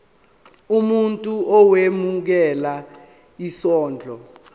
umuntu owemukela isondlo